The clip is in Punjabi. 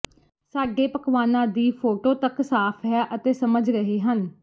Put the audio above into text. ਸਾਡੇ ਪਕਵਾਨਾ ਦੀ ਫੋਟੋ ਤੱਕ ਸਾਫ ਹੈ ਅਤੇ ਸਮਝ ਰਹੇ ਹਨ